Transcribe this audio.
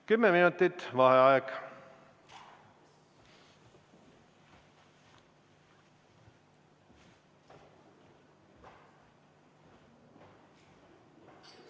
Kümme minutit vaheaega.